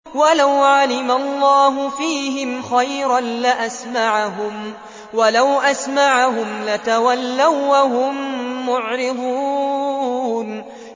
وَلَوْ عَلِمَ اللَّهُ فِيهِمْ خَيْرًا لَّأَسْمَعَهُمْ ۖ وَلَوْ أَسْمَعَهُمْ لَتَوَلَّوا وَّهُم مُّعْرِضُونَ